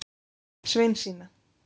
Sveinsína